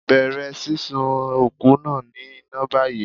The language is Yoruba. Bẹ̀rẹ̀ sísun òkú náà ní iná báyìí.